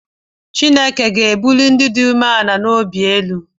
Chineke ga-ebuli ndị dị umeala n’obi elu